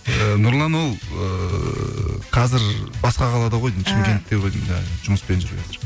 і нұрлан ол ыыы қазір басқа қалада ғой деймін шымкентте ғой деймін жұмыспен жүр қазір